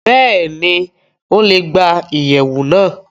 Bẹ́ẹ̀ni, Ó le gba iyẹwu náa